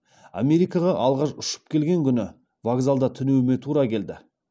америкаға алғаш ұшып келген күні вокзалда түнеуіме тура келді